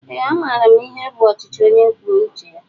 Ee a maara m ihe bụ ọchịchị ónyé kwụọ uche ya